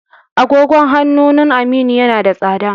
agogon hanunun Aminu yana da tsada